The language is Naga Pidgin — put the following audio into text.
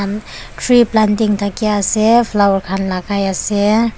tree planting taki asae flowers khan lagai asae.